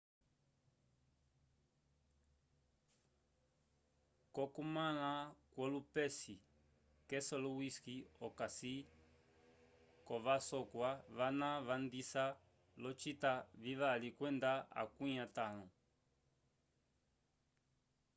cokumala kwollupesi keselowski okasi kovasokwa vana vandisa lo cita vivali kwenda akwi atalho